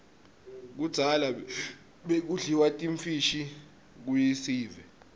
kudzala bekudliwa timfishi kuiesive